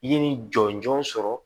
I ye nin jɔnjɔn sɔrɔ